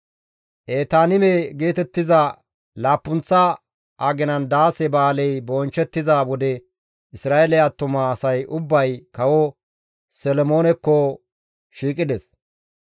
Etaanime geetettiza laappunththa aginan Daase Ba7aaley bonchchettiza wode Isra7eele attuma asay ubbay kawo Solomoonekko shiiqides.